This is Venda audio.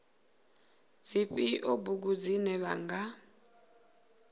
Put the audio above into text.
dzifhio bugu dzine vha nga